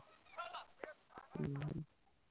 ହୁଁ।